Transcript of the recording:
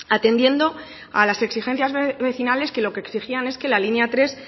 atendiendo a las exigencias vecinales que lo que exigían es que la línea tres